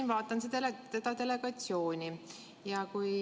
Ma vaatan siin seda delegatsiooni.